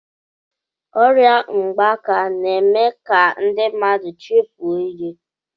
Ọrịa mgbaka na-eme ka ndị mmadụ chefuo ihe.